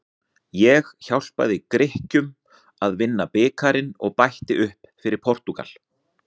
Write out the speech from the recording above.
Ég hjálpaði Grikkjum að vinna bikarinn og bætti upp fyrir Portúgal.